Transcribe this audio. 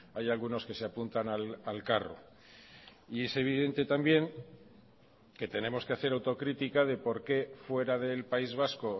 hay algunos que se apuntan al carro y es evidente también que tenemos que hacer autocrítica de por qué fuera del país vasco